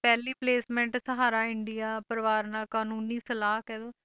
ਪਹਿਲੀ placement Sahara India Pariwar ਨਾਲ ਕਾਨੂੰਨੀ ਸਲਾਹ ਕਹਿ ਦਓ